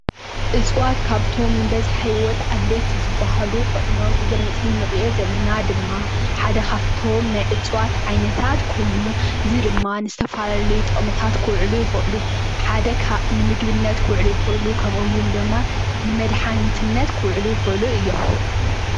እፅዋት ካብቶም በዝሒ ሂወት ኣድለይቲ ዝበሃሉ ኾይኖም እዚ ኣብ ምስሊ ንሪኦ ዘለና ድማ ሓደ ካፍቶም ናይ ዓይነታት እፀዋት ኮይኑ እዚ ድማ ንዝተፈላለዩ ጥቅምታት ክውዕሉ ይኽእሉ ፡፡ እቲ ሓደ ካብ ንምግብነት ክውዕሉ ይኽእሉ :: ከምኡውን ድማ ንመድሓኒትነት ክውዕሉ ይኽእሉ እዮም ፡፡